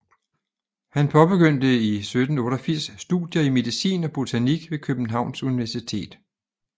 Han påbegyndte i 1788 studier i medicin og botanik ved Københavns Universitet